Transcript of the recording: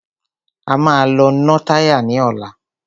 A máa lọ ná táyà ní ọ̀la.